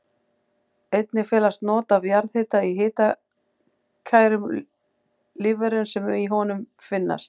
Einnig felast not af jarðhita í hitakærum lífverum sem í honum finnast.